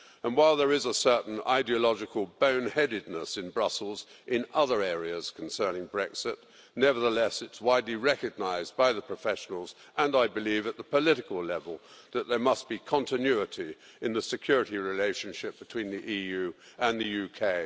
While there is a certain ideological boneheadedness in Brussels in other areas concerning Brexit, it's nevertheless widely recognised by the professionals and, I believe, at the political level that there must be continuity in the security relationship between the EU and the UK.